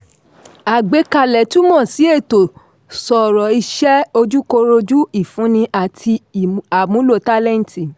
àgbékalẹ̀ túmọ̀ si ẹ̀tọ́ sọ̀rọ̀ iṣẹ́ ojúkọrojú ifunni àti àmúlò tálẹ́ǹtì.